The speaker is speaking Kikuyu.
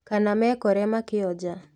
Kana meekore makĩonja